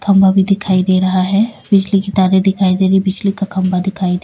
खंभा भी दिखाई दे रहा है बिजली की तारे दिखाई दे रही हैं बिजली का खंभा दिखाई --